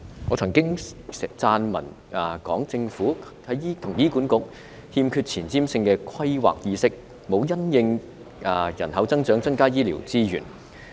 我曾經撰文講述，政府與醫院管理局欠缺前瞻性的規劃意識，也沒有因應人口增長增加醫療資源。